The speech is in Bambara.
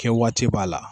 Kɛ waati b'a la